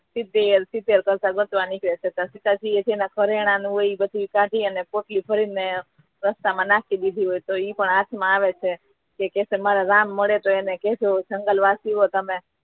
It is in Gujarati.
સીતે સીતે કરતા કરતા નીકળે છે તો સીતાજી એ જેને ઘરેણાં હોઈ એ બધું કાઢી અને પોટલી ભરી ને રસ્તા મા નાખી દીધી હોય તો ઈ પણ હાથ માં આવે છે કે મારા રામ મળે તો એને કહેજો જંગલવાસીઓ તમે